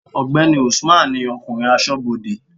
ọgbẹni Usman ni okunrin asobode